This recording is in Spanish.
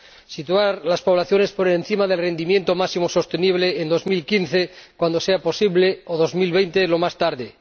Situar las poblaciones por encima del rendimiento máximo sostenible en 2015, cuando sea posible, o 2020, lo más tarde